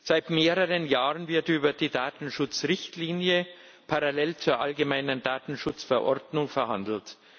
Seit mehreren Jahren wird über die Datenschutzrichtlinie parallel zur allgemeinen Datenschutzverordnung verhandelt.